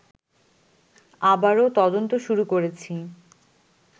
আবারও তদন্ত শুরু করেছি